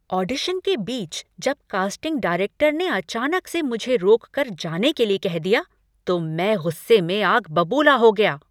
Audition के बीच, जब कास्टिंग डायरेक्टर ने अचानक से मुझे रोककर जाने के लिए कह दिया, तो मैं गुस्से में आग बबूला हो गया।